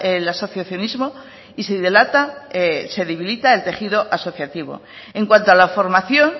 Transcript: el asociacionismo y se debilita el tejido asociativo en cuanto a la formación